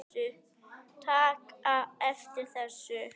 taka eftir þessu